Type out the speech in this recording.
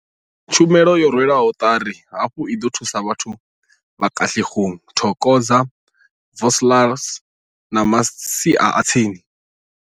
Tshumelo yo rwelwaho ṱari hafhu i ḓo thusa vhathu vha Katlehong, Thokoza, Vosloorus na masia a tsini.